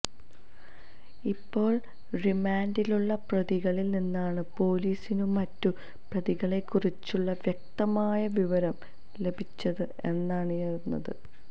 ഇപ്പോള് റിമാന്ഡിലുള്ള പ്രതികളില് നിന്നാണ് പോലീസിനു മറ്റു പ്രതികളെക്കുറിച്ചുള്ള വ്യക്തമായ വിവരം ലഭിച്ചത് എന്നാണറിയുന്നത്